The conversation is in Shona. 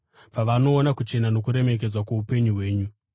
pavanoona kuchena nokuremekedzwa kwoupenyu hwenyu.